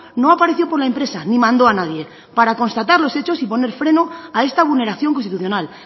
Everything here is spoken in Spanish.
no apareció por la empresa ni mandó a nadie para constatar los hechos y poner freno a esta vulneración constitucional